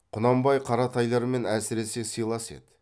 құнанбай қаратайлармен әсіресе сыйлас еді